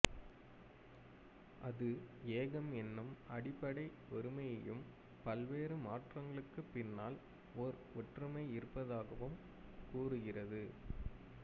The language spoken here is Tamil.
அது ஏகம் என்னும் அடிப்படை ஒருமையையும் பல்வேறு மாற்றங்களுக்கு பின்னால் ஒரு ஒற்றுமை இருப்பதாகவும் கூறுகிறது